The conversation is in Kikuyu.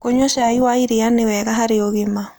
Kũnyua cai wa cai nĩwega harĩ ũgima